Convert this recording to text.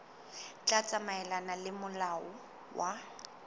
tla tsamaelana le molao wa